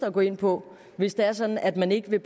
at gå ind på hvis det er sådan at man ikke vil